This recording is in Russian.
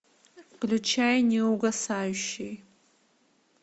включай неугасающий